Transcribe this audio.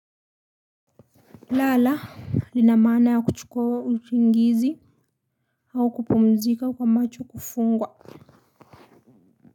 Lala linamana ya kuchukua usingizi au kupumzika kwa macho kufungwa.